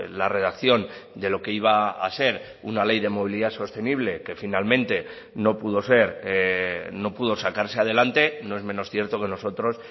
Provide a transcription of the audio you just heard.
la redacción de lo que iba a ser una ley de movilidad sostenible que finalmente no pudo ser no pudo sacarse adelante no es menos cierto que nosotros